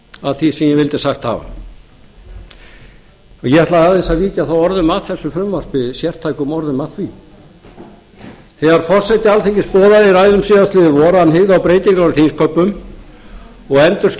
að því sem ég vildi sagt hafa ég ætla aðeins að víkja þá orðum að þessu frumvarpi sértækum orðum að því þegar forseti alþingis boðaði í ræðu síðastliðið vor að hann hygði á breytingar á þingsköpum og